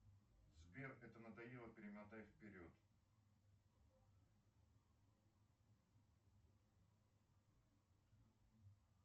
сбер это надоело перемотай вперед